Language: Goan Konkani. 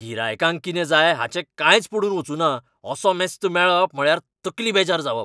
गिरायकांक कितें जाय हाचें कांयच पडून वचूना असो मस्त मेळप म्हळ्यार तकली बेजार जावप.